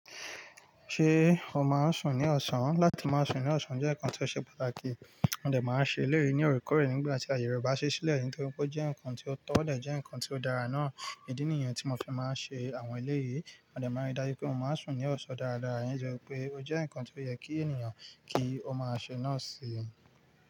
Ṣé o máa ń sùn ní ọ̀sán? Láti máa sùn ní ọ̀sán jẹ́ nǹkan ti ó ṣe pàtàkì. Wọn dè máa ń ṣe eléyí ní òorekoore nígbà tí aayẹ re ba ṣe sílẹ̀, nítorí pé ó jẹ́ nǹkan ti ó tọ́, o dè jẹ́ nǹkan ti ó dára náà. Ìdí nìyẹn tí mo fi máa ń ṣe àwọn eléyìí. Wọn dè máa n rí dájú pé mo máa ń sùn ní ọ̀sán dáradára, ẹ́yin ti wo pé ó jẹ́ nǹkan tí ó yẹ kí ènìyàn kí ó máa ṣe náà sí i.